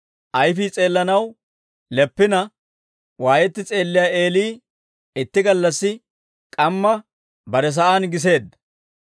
Ayfii s'eellanaw leppina, waayetti s'eelliyaa Eeli itti gallassi k'amma bare sa'aan giseedda.